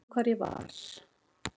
Ég man hvar ég var.